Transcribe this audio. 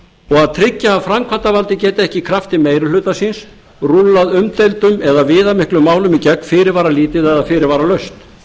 að tryggja að framkvæmdarvaldið geti ekki í krafti meiri hluta síns rúllað umdeildum eða viðamiklum málum í gegn fyrirvaralítið eða fyrirvaralaust